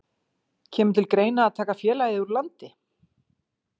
Sindri: Kemur til greina að taka félagið úr landi?